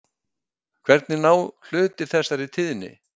En hvernig ná hlutir þessari tíðni?